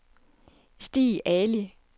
Stig Ali